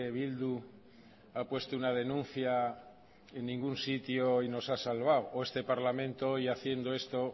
bildu ha puesto una denuncia en ningún sitio y nos ha salvado o este parlamento hoy haciendo esto